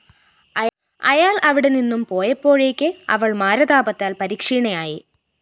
അയാള്‍ അവിടെനിന്നും പോയപ്പോഴേയ്ക്ക് അവള്‍ മാരതാപത്താല്‍ പരിക്ഷീണയായി